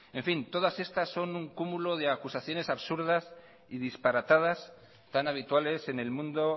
en fin todas estas son un cúmulo de acusaciones absurdas y disparatadas tan habituales en el mundo